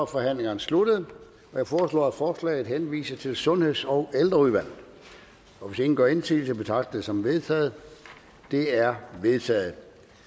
forhandlingerne sluttet jeg foreslår at forslaget henvises til sundheds og ældreudvalget hvis ingen gør indsigelse betragter som vedtaget det er vedtaget